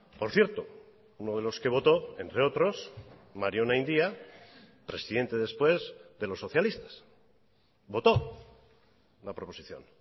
por cierto uno de los que votó entre otros mario onaindia presidente después de los socialistas votó la proposición